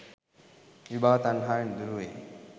විභව තණ්හාවෙන් දුරුවෙයි.